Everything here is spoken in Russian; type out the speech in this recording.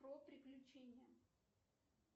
про приключения